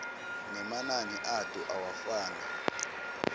nemanani ato awafani